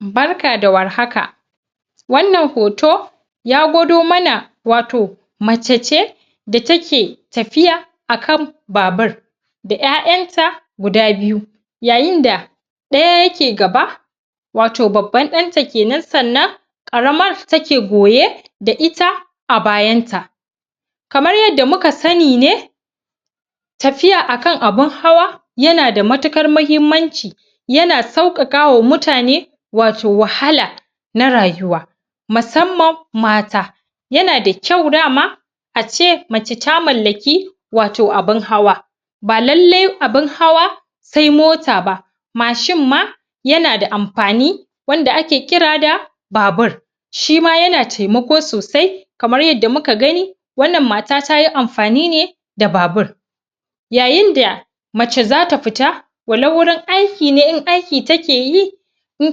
Barka da warhaka! wannan hoto ya gwado mana wato mace ce da take tafiya akan babur da ƴaƴan ta guda biyu yayin da ɗaya yake gaba wato babban ɗan ta kenan sannan ƙaramar ta ke goye da ita a bayan ta kamar yanda muka sanni ne tafiya akan abun hawa yana da matukar mahimmanci yana sauƙaƙa wa mutane wato wahala na rayuwa masamman mata yana da kyau dama a ce mace ta mallaki wato abun hawa ba lallai abun hawa sai mota ba mashin ma yana da amfani wanda ake kira da babur shima yana taimako sosai kamar yanda muka gani wannan mata tayi amfani ne da babur yayin da mace zata fita walau wurin aiki ne in aiki ta ke yi in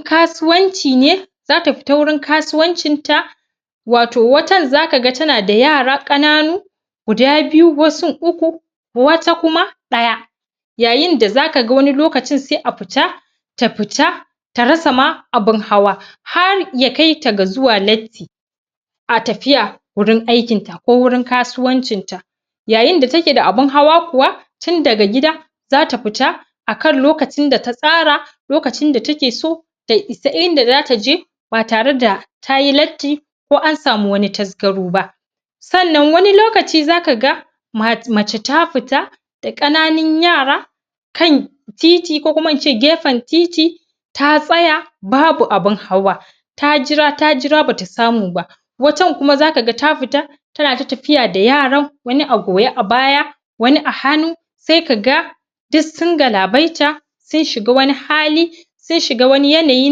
kasuwanci ne zata fita wurin kasuwancin ta wato watan zaka ga tana da yara ƙananu guda biyu, wasun uku wata kuma ɗaya yayin da zaka ga wani lokacin sai a futa ta fita ta rasa ma abun hawa har ya kaita ga zuwa latti a tafiya gurin aikin ta ko wurin kasuwancinta yayin da take da abun hawa kuwa tun daga gida zata fita akan lokacin da ta tsara lokacin da ta ke so ta isa inda zata je ba tare da tayi latti ko an samu wani tazgaro ba sannan wani lokaci zaka ga ma mace ta fita da ƙananun yara kan titi ko kuma ince gefen titi ta tsaya babu abun hawa ta jira ta jira bata samu ba wacan kuma zaka ga ta fita tana ta tafiya da yaran wani a goye a baya wani a hannu sai kaga dik sun galabaita sun shiga wani hali sun shiga wani yanayi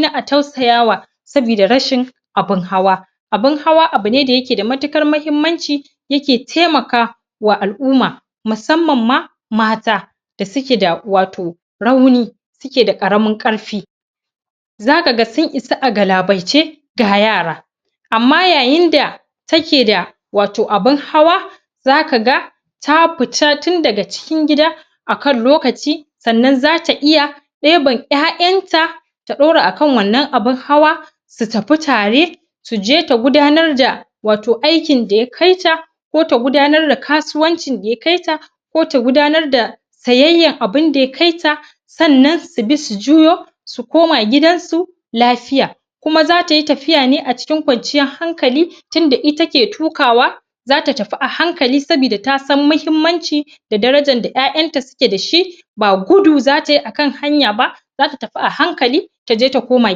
na a tausayawa sabida rashin abun hawa abun hawa abune da yake da matuƙar mahimmanci yake taimaka wa al'umma musamman ma mata da suke da wato rauni suke da ƙaramin ƙarfi zaka ga sun isa a galabaice ga yara amma yayin da take da wato abun hawa zaka ga ta futa tun daga cikin gida akan lokaci sannan zata iya ɗeban ƴaƴan ta ta ɗora akan wannan abun hawa su tafi tare su je ta gudanar da wato aikin da ya kai ta ko ta gudanar da kasuwancin da ya kaita ko ta gudanar da sayayyan abunda ya kaita sannan su bi su juyo su koma gidansu lafiya kuma zata yi tafiya ne a cikin kwanciyan hankali tinda ita ke tukawa zata tafi a hankali sabida ta san mahimmanci da darajan da ƴaƴanta suke dashi ba gudu zata yi akan hanya ba zata tafi a hankali taje ta koma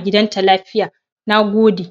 gidanta lafiya Nagode!